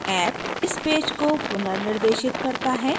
app इस page को पुनर्निर्देशित करता है